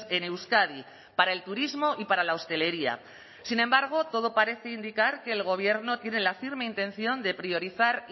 en euskadi para el turismo y para la hostelería sin embargo todo parece indicar que el gobierno tiene la firme intención de priorizar